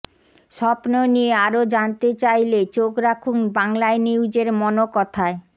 স্বপ্ন নিয়ে আরো জানতে চাইলে চোখ রাখুন বাংলানিউজের মনোকথায়